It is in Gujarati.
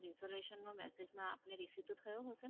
Information માં Message માં આપને Receive તો થયો હશેને